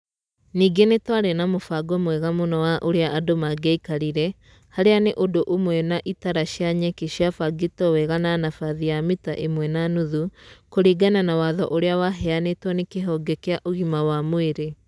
Nĩngĩ nĩtwarĩ na mũbango mwega mũno wa ũrĩa andũ mangĩaikarire, harĩa nĩ ũndũ ũmwe na itara cia nyeki ciabangĩtwo wega na nabathi ya mita ĩmwe na nuthu kũringana na watho ũrĩa waheanĩtwo nĩ kĩhonge kĩa ũgima wa mwĩrĩ.